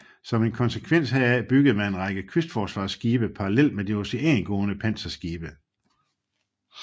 Som en konsekvens heraf byggede man en række kystforsvarsskibe parallelt med de oceangående panserskibe